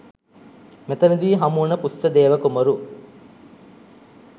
මෙතන දී හමුවන ඵුස්සදේව කුමරු